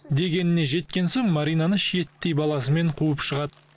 дегеніне жеткен соң маринаны шиеттей баласымен қуып шығады